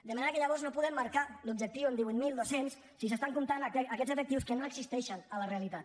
de manera que llavors no podem marcar l’objectiu en divuit mil dos cents si s’estan comptant aquests efectius que no existeixen a la realitat